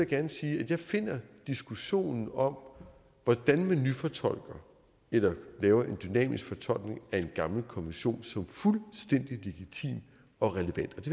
gerne sige at jeg finder diskussionen om hvordan man nyfortolker eller laver en dynamisk fortolkning af en gammel konvention fuldstændig legitim og relevant